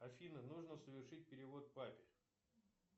афина нужно совершить перевод папе